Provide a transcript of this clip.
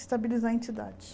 estabilizar a entidade.